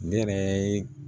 Ne yɛrɛ